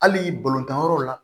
Hali balontan yɔrɔw la